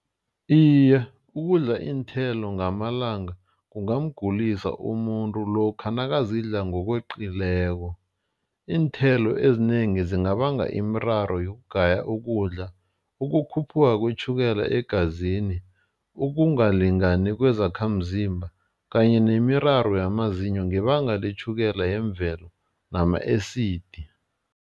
Iye, ukudla iinthelo ngamalanga kungamgulisa umuntu. Lokha nakazidlako ngokweqileko iinthelo ezinengi zingabanga imiraro yokugaya ukudla, ukukhuphuka kwetjhukela egazini, ukungalingani kwezakhamzimba kanye nemiraro yamazinyo ngebanga letjhukela yemvelo nama-esidi.